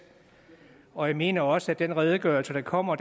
og jeg mener også at den redegørelse der kommer